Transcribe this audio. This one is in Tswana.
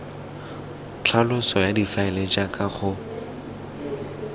tlhaloso ya difaele jaaka go